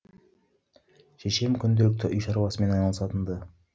шешем күнделікті үй шаруасымен айналысатын ды